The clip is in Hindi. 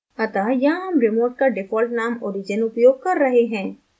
अतः यहाँ हम remote का default name origin उपयोग कर रहे हैं